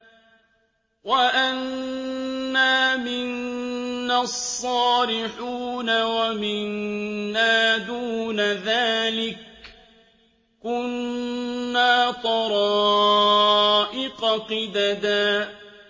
وَأَنَّا مِنَّا الصَّالِحُونَ وَمِنَّا دُونَ ذَٰلِكَ ۖ كُنَّا طَرَائِقَ قِدَدًا